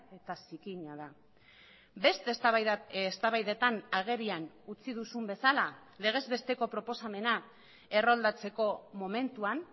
eta zikina da beste eztabaidetan agerian utzi duzun bezala legez besteko proposamena erroldatzeko momentuan